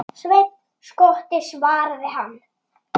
Sveinn skotti, svaraði hann.